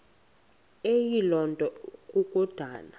eyiloo nto kukodana